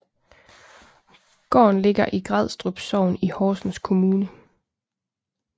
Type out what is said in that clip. Gården Ligger i Grædstrup Sogn i Horsens Kommune